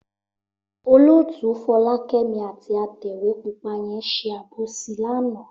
Olótùú Fọlákẹ́mi àti atẹ̀wé pupa yẹn ṣe àbòsí lánàá.